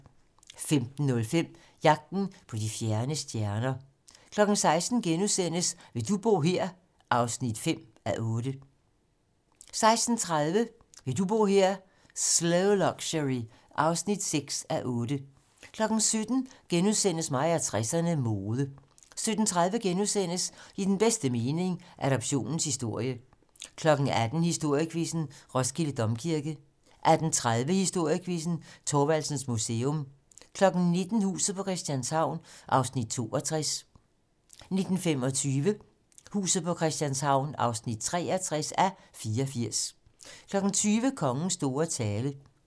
15:05: Jagten på de fjerne stjerner 16:00: Vil du bo her? (5:8)* 16:30: Vil du bo her? - Slow Luxury (6:8) 17:00: Mig og 60'erne: Mode * 17:30: I den bedste mening - Adoptionens historie * 18:00: Historiequizzen: Roskilde Domkirke 18:30: Historiequizzen: Thorvaldsens Museum 19:00: Huset på Christianshavn (62:84) 19:25: Huset på Christianshavn (63:84) 20:00: Kongens store tale